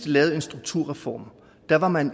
lavet en strukturreform var man